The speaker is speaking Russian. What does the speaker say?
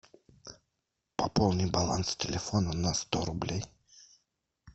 пополни баланс телефона на сто рублей